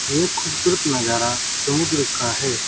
ये खूबसूरत नज़ारा समुद्र का है।